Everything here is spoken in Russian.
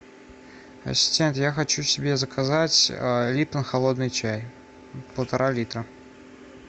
ассистент я хочу себе заказать липтон холодный чай полтора литра